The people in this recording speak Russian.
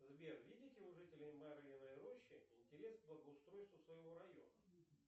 сбер видите у жителей марьиной рощи интерес к благоустройству своего района